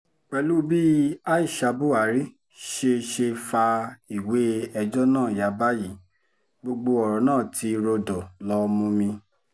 pẹ̀lú u bí aisha buhari ṣe ṣe fa ìwé ẹjọ́ náà ya báyìí gbogbo ọ̀rọ̀ náà ti rọ̀dọ̀ lọ mumi